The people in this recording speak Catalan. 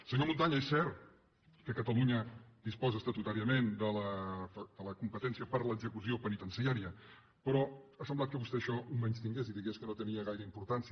senyor montanya és cert que catalunya disposa estatutàriament de la competència per a l’execució penitenciària però ha semblat que vostè això ho menystingués i digués que no tenia gaire importància